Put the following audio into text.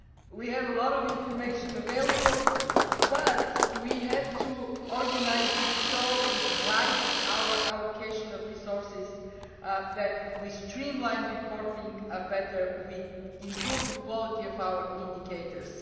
We have a lot of information available, but we have to organise it so it guides our allocation of resources that we streamlined reporting better, we improved the quality of our indicators.